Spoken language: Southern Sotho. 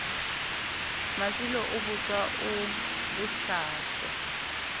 masilo o botswa o bohlaswa